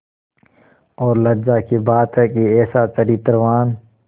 और लज्जा की बात है कि ऐसा चरित्रवान